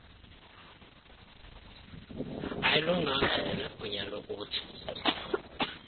ayilunganga sinegunya lokuthi